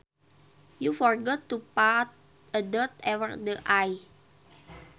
You forgot to put a dot over the i